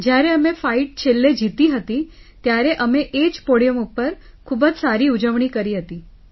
જ્યારે અમે ફાઇટ છેલ્લે જીતી હતી ત્યારે અમે એ જ પોડિયમ પર ખૂબ જ સારી ઉજવણી કરી હતી